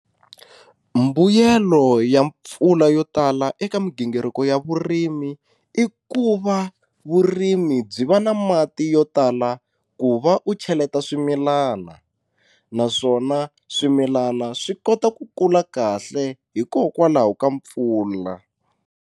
Mbuyelo ya mpfula yo tala eka migingiriko ya vurimi i ku va vurimi byi va na mati yo tala ku va u cheleta swimilana naswona swimilana swi kota ku kula kahle hikokwalaho ka mpfula.